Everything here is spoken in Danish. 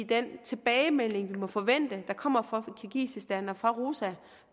den tilbagemelding vi må forvente der kommer fra kirgisistan og fra roza